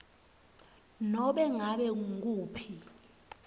nobe ngabe ngukuphi